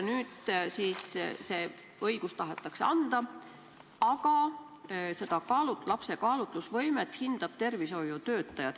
Nüüd see õigus tahetakse anda, aga lapse kaalutlusvõimet hindab tervishoiutöötaja.